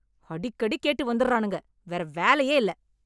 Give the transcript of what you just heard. அடிக்கடி கேட்டு வந்தர்றானுங்க, வேற வேலையே இல்ல.